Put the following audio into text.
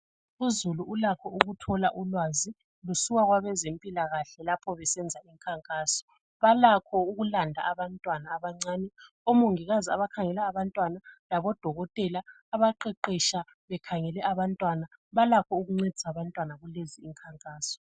Uzulu ulakho ukuthola ulwazi lusuka kwabezempilakahle lapho besenza imikhankaso balakho ukulanda abantwana abancane omongikazi abakhangela abantwana labodokotela abaqeqesha bekhangele abantwana balakho ukuncedisa abantwana kulezi imikhankaso